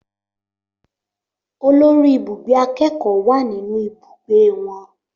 Olórí ibùgbé akẹ́kọ̀ọ́ wà nínú ibùgbé wọn